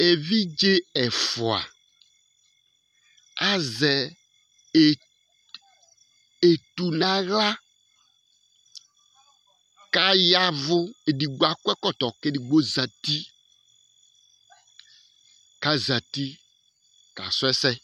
Evidze ɛfʋa azɛ etu nʋ aɣla kʋ ayavʋ Ɛdigbo akɔ ɛkɔtɔ kʋ ɛdigbo zɛti kʋ azɛti kasu ɛsɛ